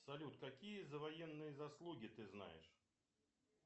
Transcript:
салют какие за военные заслуги ты знаешь